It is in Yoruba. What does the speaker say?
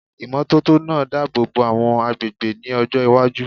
Ìmọ́tótó máa dábòbò àwọn agbègbè ní ọjọ́ iwájú.